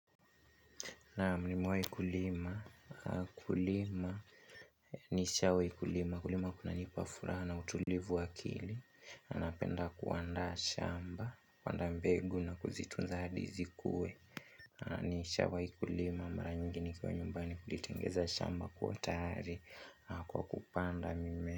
Naam nimewai kulima, kulima nishawai kulima, kulima kunanipa furaha utulivu wa akili napenda kuandaa shamba, kupanda mbegu na kuzitunza hadi zikue nishawai kulima, mara nyingi nikiwa nyumbani kulitengeneza shamba kuwa tayari kwa kupanda mimea.